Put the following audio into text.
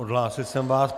Odhlásil jsem vás.